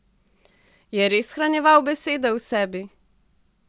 Je res shranjeval besede v sebi?